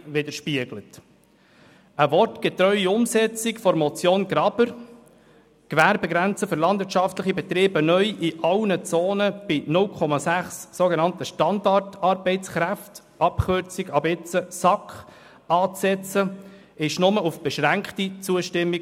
Eine wortgetreue Umsetzung der Motion Graber, die Gewerbegrenze für landwirtschaftliche Betriebe neu in allen Zonen bei 0,6 Standartarbeitskraft (SAK) anzusetzen, stiess in der Vernehmlassung nur auf beschränkte Zustimmung.